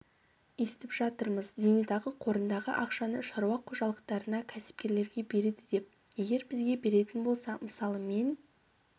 естіп жатырмыз зейнетақы қорындағы ақшаны шаруа қожалықтарына кәсіпкерлерге береді деп егер бізге беретін болса мысалы мен